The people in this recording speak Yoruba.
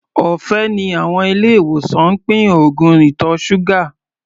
Ọ̀fẹ́ ni àwọn ilé-ìwòsàn ń pín oògùn ìtọ̀ ṣúgà.